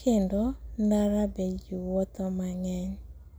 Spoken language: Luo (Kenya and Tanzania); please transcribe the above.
kendo ndara be jii wuotho mang'eny.